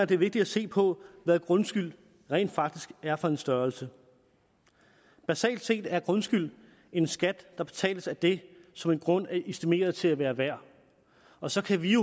det er vigtigt at se på hvad grundskyld rent faktisk er for en størrelse basalt set er grundskyld en skat der betales af det som en grund er estimeret til at være værd og så kan vi